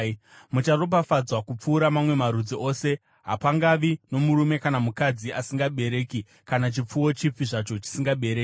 Mucharopafadzwa kupfuura mamwe marudzi ose, hapangavi nomurume kana mukadzi asingabereki, kana chipfuwo chipi zvacho chisingabereki.